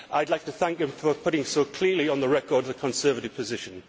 I would like to thank him for putting so clearly on the record the Conservative position.